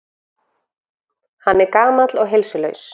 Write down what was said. Hann er gamall og heilsulaus.